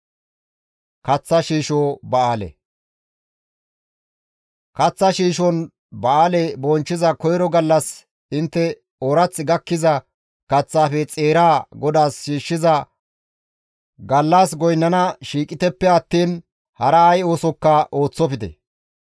« ‹Kaththa shiishon ba7aale bonchchiza koyro gallas intte oorath gakkiza kaththaafe xeeraa GODAAS shiishshiza gallas goynnana shiiqiteppe attiin hara ay oosokka ooththofte.